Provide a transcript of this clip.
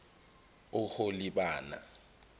oholibana